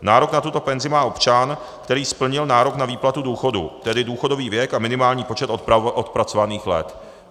Nárok na tuto penzi má občan, který splnil nárok na výplatu důchodu, tedy důchodový věk a minimální počet odpracovaných let.